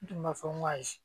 N tun b'a fɔ n ko ayi